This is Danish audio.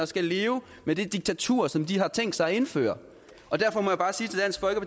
skal leve med det diktatur som de har tænkt sig at indføre derfor må jeg bare